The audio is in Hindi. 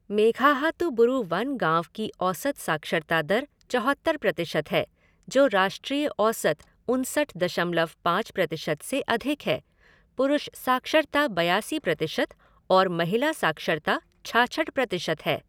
मेघाहातुबुरु वन गाँव की औसत साक्षरता दर चौहत्तर प्रतिशत है, जो राष्ट्रीय औसत उनसठ दशमलव पाँच प्रतिशत से अधिक है, पुरुष साक्षरता बयासी प्रतिशत और महिला साक्षरता छाछठ प्रतिशत है।